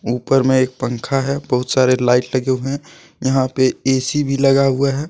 ऊपर में एक पंखा है बहुत सारे लाइट लगे हुए है यहां पे ए_सी भी लगा हुआ है।